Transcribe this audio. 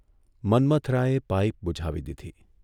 મન્મથરાયે pipe બૂઝાવી દીધી.